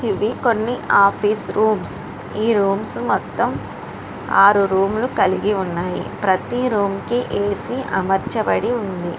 కొన్ని office rooms . ఈ rooms మొత్తం ఆరు రూములు కలిగి ఉన్నాయి. ప్రతి రూము కి ఏసీ అమర్చబడి ఉంది.